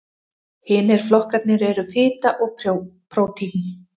Hinir flokkarnir eru fita og prótín.